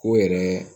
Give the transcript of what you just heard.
O yɛrɛ